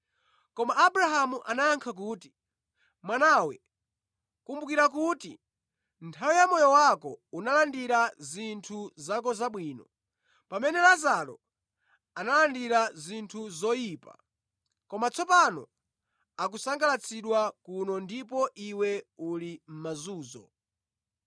“Koma Abrahamu anayankha kuti, ‘Mwanawe kumbukira kuti nthawi yamoyo wako unalandira zinthu zako zabwino, pamene Lazaro analandira zinthu zoyipa, koma tsopano akusangalatsidwa kuno ndipo iwe uli mʼmazunzo.